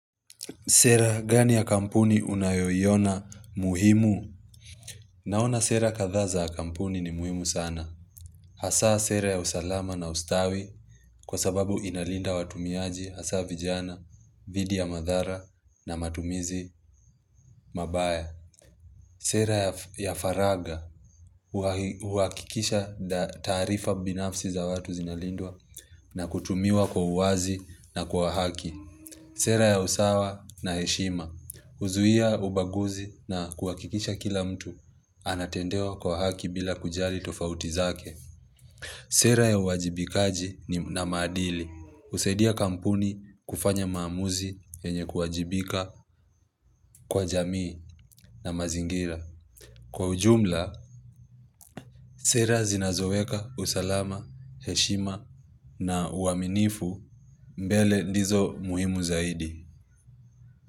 Sera gani ya kampuni unayoiona muhimu? Naona sera kadhaa za ya kampuni ni muhimu sana. Hasa sera ya usalama na ustawi kwa sababu inalinda watumiaji hasa vijana, dhidi ya madhara na matumizi mabaya. Sera ya faragha huakikisha taarifa binafsi za watu zinalindwa na kutumiwa kwa uwazi na kwa haki. Sera ya usawa na heshima. Huzuia ubaguzi na kuhakikisha kila mtu anatendewa kwa haki bila kujali tofauti zake. Sera ya uwajibikaji ni na maadili. Husaidia kampuni kufanya maamuzi yenye kuwajibika kwa jamii na mazingira. Kwa ujumla, sera zinazoweka usalama, heshima na uaminifu mbele ndizo muhimu zaidi.